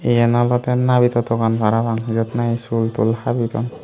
iyen olode nabito dogan parapang jut nahi sul tul habi dun.